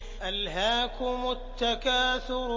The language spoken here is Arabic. أَلْهَاكُمُ التَّكَاثُرُ